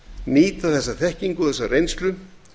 nýta þessa þekkingu og þessa reynslu